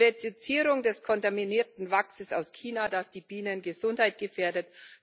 Die Reduzierung des kontaminierten Wachses aus China, das die Bienengesundheit gefährdet